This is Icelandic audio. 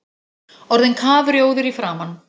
Orðinn kafrjóður í framan!